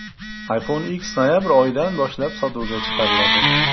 iPhone X noyabr oyidan boshlab sotuvga chiqariladi.